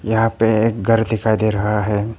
यहां पे एक घर दिखाई दे रहा है।